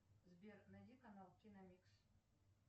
сбер найди канал киномикс